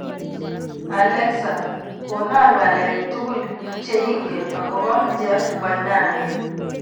Alexa konon ng'alek tugul chengen ago po Jeff Koinange